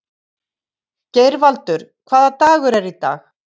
Geirvaldur, hvaða dagur er í dag?